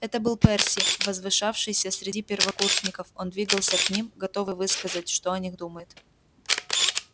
это был перси возвышавшийся среди первокурсников он двигался к ним готовый высказать что о них думает